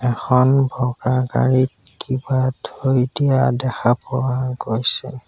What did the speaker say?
এখন বগা গাড়ীত কিবা থৈ দিয়া দেখা পোৱা গৈছে।